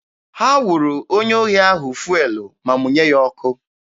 Ha wụrụ onye ohi ahụ fụelụ ma mụnye ya ọkụ.